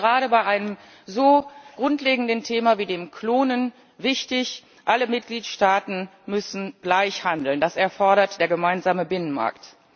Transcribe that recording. Das ist gerade bei einem so grundlegenden Thema wie dem Klonen wichtig. Alle Mitgliedstaaten müssen gleich handeln. Das erfordert der gemeinsame Binnenmarkt.